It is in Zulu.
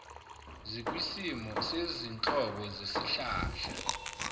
zikwisimo sezinhlobo zesihlahla